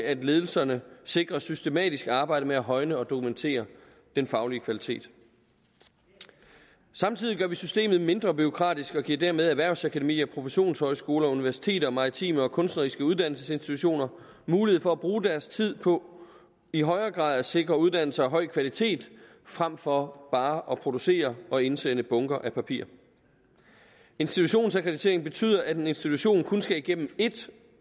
at ledelserne sikrer systematisk arbejde med at højne og dokumentere den faglige kvalitet samtidig gør vi systemet mindre bureaukratisk og giver dermed erhvervsakademier professionshøjskoler universiteter og maritime og kunstneriske uddannelsesinstitutioner mulighed for at bruge deres tid på i højere grad at sikre uddannelse af høj kvalitet frem for bare at producere og indsende bunker af papir institutionsakkreditering betyder at en institution kun skal igennem et